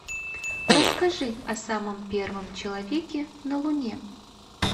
расскажи о самом первом человеке на луне